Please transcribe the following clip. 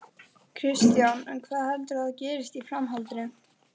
Kristján: En hvað heldurðu að gerist í framhaldinu?